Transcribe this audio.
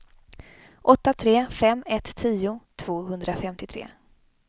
åtta tre fem ett tio tvåhundrafemtiotre